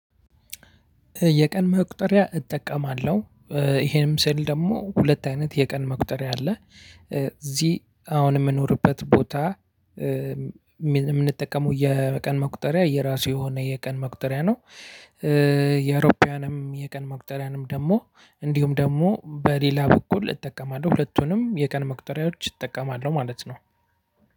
የቀን መቁጠሪያ እጠቀማለሁ። ይሄንም ስል ደግሞ ሁለት አይነት የቀን መቁጠሪያ አለ እዚህ አሁን የምንኖርበት ቦታ የምንጠቀመው የቀን መቁጠሪያ የራሱ የሆነ የቀን መቁጠሪያ ነው። የአውሮፓውያንም የቀን መቁጠሪያንም ደግሞ እንዲሁም ደግሞ በሌላ በኩል እጠቀማለሁ ሁለቱንም የቀን መቁጠሪያዎች እጠቀማለሁ ማለት ነው።